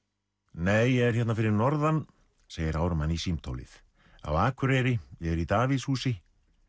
nei ég er hérna fyrir norðan segir Ármann í símtólið á Akureyri ég er í Davíðshúsi